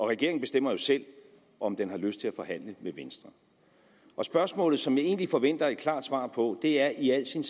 regeringen bestemmer jo selv om den har lyst til at forhandle med venstre spørgsmålet som jeg egentlig forventer et klart svar på er i al sin